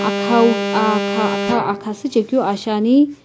akhau ah kha akha akha süchekeu aa shiani.